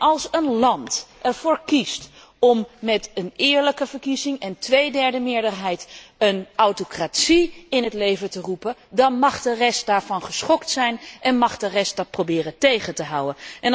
Als een land ervoor kiest om met een eerlijke verkiezing en een tweederde meerderheid een autocratie in het leven te roepen, mag de rest daarover geschokt zijn en mag de rest dat proberen tegen te houden.